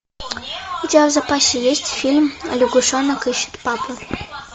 у тебя в запасе есть фильм лягушонок ищет папу